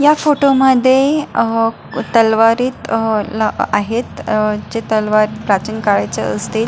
ह्या फोटो मध्ये अह तलवारीत अह ला आहेत अह ज्या तलवारी प्राचीन काळाच्या असतील.